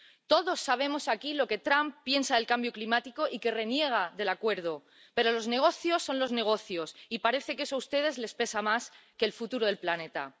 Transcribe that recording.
Todos sabemos aquí lo que Trump piensa del cambio climático y que reniega del Acuerdo, pero los negocios son los negocios y parece que eso a ustedes les pesa más que el futuro del planeta.